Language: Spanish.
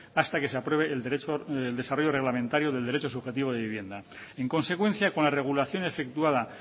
hasta que se apruebe el desarrollo reglamentario del derecho subjetivo de vivienda en consecuencia con la regulación efectuada